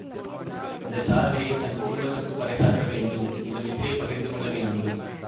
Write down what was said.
இந்த சாதனையைத் தன் குடும்பத்துக்குப் பறைசாற்ற வேண்டும் இந்த வெற்றியை பகிர்ந்து கொள்ள வேண்டும்